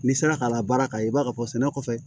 N'i sera ka labaara ka i b'a fɔ sɛnɛ kɔfɛ